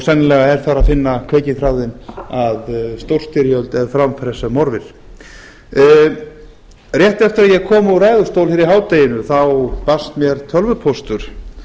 sennilega er þar að finna kveikjuþráðinn að stórstyrjöld ef fram fer sem horfir rétt eftir að ég kom úr ræðustól hér í hádeginu þá barst mér tölvupóstur